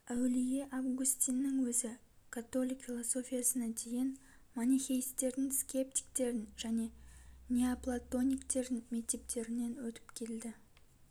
әулие августиннің өзі католик философиясына дейін манихейстердің скептиктердің және неоплатониктердің мектептерінен өтіп келді